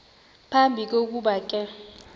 phambi kokuba ke